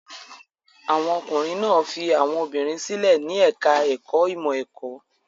Àwọn ọkùnrin náà fi àwọn obìnrin sílẹ̀ ní ẹ̀ka-ẹ̀kọ́ ìmọ̀-ẹ̀kọ́.